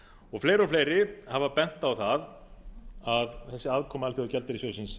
áðan fleiri og fleiri hafa bent á að þessi aðkoma alþjóðagjaldeyrissjóðsins